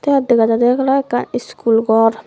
te iyot dega jaydey olo ekkan iskul gor.